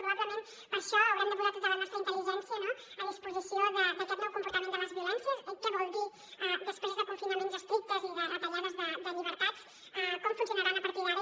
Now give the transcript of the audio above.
probablement per això haurem de posar tota la nostra intel·ligència a disposició d’aquest nou comportament de les violències què vol dir després de confinaments estrictes i de retallades de llibertats com funcionaran a partir d’ara